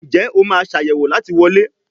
Njé o ma Ṣàyẹ̀wò láti wọlé?